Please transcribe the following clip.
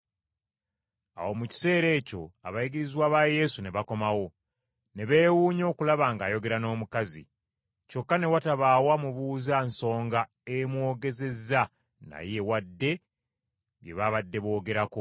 Awo mu kiseera ekyo abayigirizwa ba Yesu ne bakomawo. Ne beewuunya okulaba ng’ayogera n’omukazi. Kyokka ne watabaawo amubuuza nsonga emwogezezza naye wadde bye babadde boogerako.